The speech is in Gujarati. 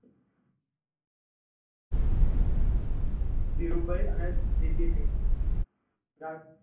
ધીરુભાઈ અને વી. પી. સિંઘ